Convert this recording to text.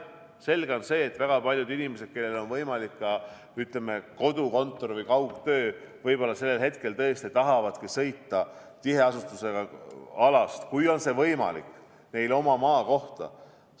Selge on see, et väga paljud inimesed, kellel on võimalik, ütleme, kodukontor või kaugtöö, võib-olla sellel hetkel tõesti tahavadki sõita tiheasustusega alalt, kui see on võimalik, oma maakohta.